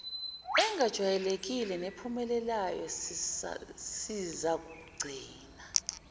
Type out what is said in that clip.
engajwayelekile nephumelelayo sizakugcina